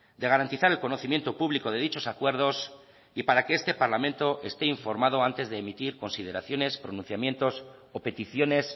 de garantizar el conocimiento público de dichos acuerdos y para que este parlamento esté informado antes de emitir consideraciones pronunciamientos o peticiones